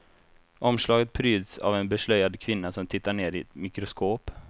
Omslaget pryds av en beslöjad kvinna som tittar ner i ett mikroskop.